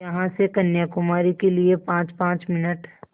यहाँ से कन्याकुमारी के लिए पाँचपाँच मिनट